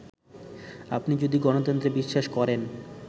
আপনি যদি গণতন্ত্রে বিশ্বাস করেন